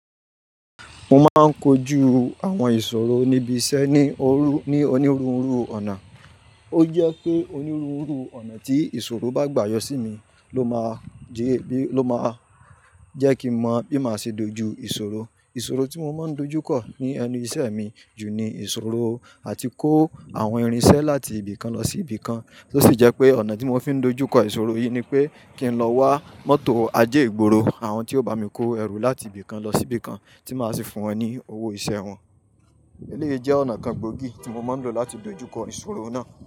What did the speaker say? Mo máa ń kojú àwọn ìṣòro níbi iṣẹ́ ní òru, ní onírúurú ọ̀nà. Ó jẹ́ pé onírúurú ọ̀nà tí ìṣòro bá gbà yọ sí mi ló máa jẹ́ bí, ló máa jẹ́ kí n mo bí màá ṣe dojú ìṣòro. Ìṣòro tí mo máa ń dojú kọ̀ ní ẹnu ìṣe mi jù ní ìṣòro àti kó àwọn irinṣẹ́ láti ibì kan lọ sí ibì kan. Ó sì jẹ́ pé ọ̀nà tí mo fi ń dojú kọ ìṣòro yìí ni pé kí n lọ wá mọ́tò ajé ìgboro àwọn tí ó bá mi kó ẹrù láti ibì kan lọ sí ibì kan tí màá sì fún wọn ní owó iṣẹ́ wọn. Eléyìí jẹ́ ọ̀nà kan gbòógì tí mo máa ń lò láti dojú kọ ìṣòro náà.